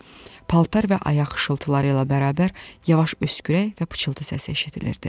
Paltar və ayaq xışıltıları ilə bərabər yavaş öskürək və pıçıltı səsi eşidilirdi.